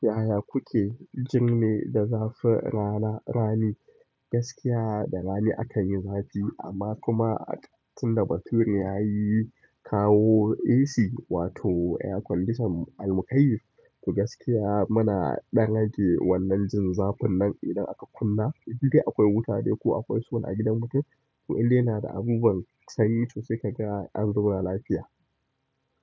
Yaya kuke jin me da zafin rana rani? Gaskiya da rani akan yi zafi amma kuma tun da bature yayi kawo AC wato air conditioner al mukayi to gaskiya muna ɗan rage wannan jin zafin nan idan aka kunna. Inda akwai wuta dai ko akwai solar a gidan mu dai. In dai yana da abunuwan sanyi to sai kaga an zauna lafiya.